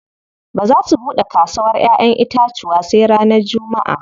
Ba za su buɗe kasawar ƴaƴen itacuwa sai ranar jummaʼa.